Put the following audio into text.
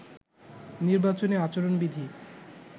নির্বাচনী আচরণবিধি